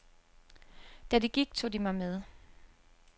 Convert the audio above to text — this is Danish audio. Da de gik, tog de mig med.